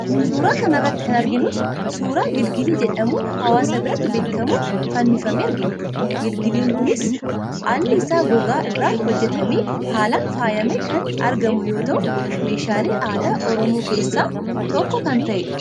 Suuraa kana irratti kan arginus suuraa gilgilii jedhamuun hawaasa biratti beekamu fannifamee argina. Gilgiliin kunis alli isaa gogaa irraa hojjetamee haalaan faayamee kan argamu yoo ta'u, meeshaalee aadaa Oromoo keessaa tokko kan ta'edha.